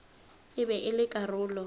e be e le karolo